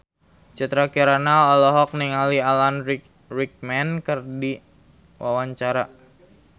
Citra Kirana olohok ningali Alan Rickman keur diwawancara